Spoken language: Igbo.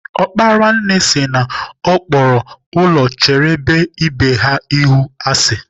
Ọkpara nne sịri na Ọ kpọrọ ụlọ chebere ibe ha ihu asị.